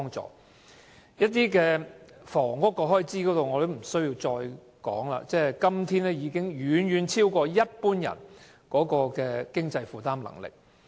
至於房屋開支，我也不用多說，因為今天的樓價已遠遠超過一般人的經濟負擔能力。